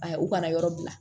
A ye u ka na yɔrɔ bila